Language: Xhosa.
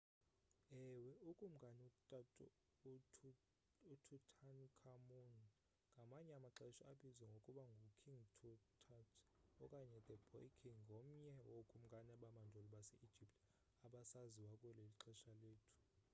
ewe ukumkani ututankhamun ngamanye amaxesha abizwa ngokuba ngu king tut okanye the boy king ngomnye wokumkani bamandulo base-egypt abasaziwayo kweli xesha lethu